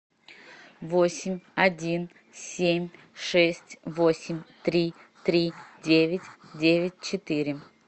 восемь один семь шесть восемь три три девять девять четыре